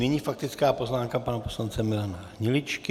Nyní faktická poznámka pana poslance Milana Hniličky.